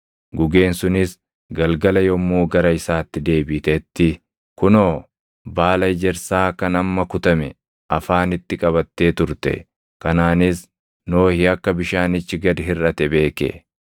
Gugeen sunis galgala yommuu gara isaatti deebitetti kunoo, baala ejersaa kan amma kutame afaanitti qabattee turte. Kanaanis Nohi akka bishaanichi gad hirʼate beeke.